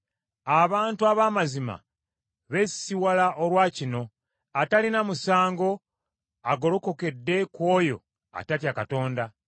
Abantu ab’amazima beesisiwala olwa kino; atalina musango agolokokedde ku oyo atatya Katonda.